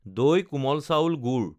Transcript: দৈ কোমল চাউল গুড়